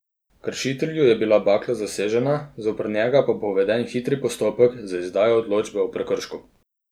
Kršitelju je bila bakla zasežena, zoper njega pa bo uveden hitri postopek z izdajo odločbe o prekršku.